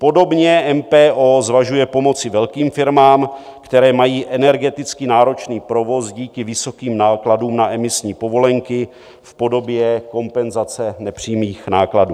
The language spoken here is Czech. Podobně MPO zvažuje pomoci velkým firmám, které mají energeticky náročný provoz díky vysokým nákladům na emisní povolenky, v podobě kompenzace nepřímých nákladů.